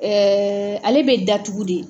ale bɛ datugu de.